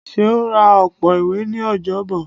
Seun rá ọpọ ìwé ní Ọjọbọ